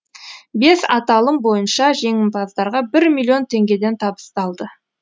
бес аталым бойынша жеңімпаздарға бір миллион теңгеден табысталды